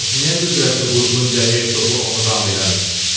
Bəs niyə qüdrətli Burqundiya hersoqu onu ram eləmir?